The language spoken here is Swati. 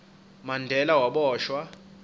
mandela waboshwa